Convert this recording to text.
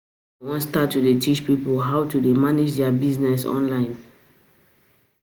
I wan start to dey teach people how to dey manage their business online